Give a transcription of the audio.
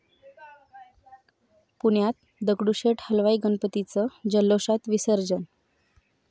पुण्यात दगडूशेठ हलवाई गणपतीचं जल्लोषात विसर्जन